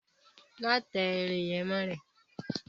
Má tẹ irin yẹn mọ́lẹ̀!